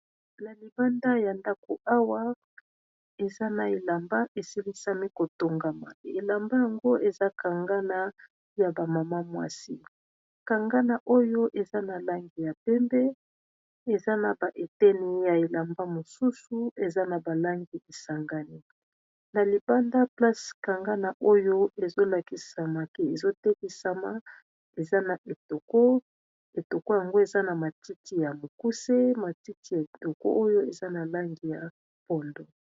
na libanda ya ndako awa eza na elamba esilisami kotongama elamba yango eza kangana ya bamama mwasi kangana oyo eza na langi ya pembe eza na baeteni ya elamba mosusu eza na balangi esangani na libanda place kangana oyo ezolakisamake ezotelisama eza naetoko yango eza na matiti ya mokuse matiti ya etoko oyo eza na langi ya pondo